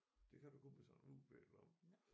Det kan du kun med sådan en UV-lampe